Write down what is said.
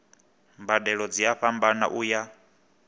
mbadelo dzi a fhambana uya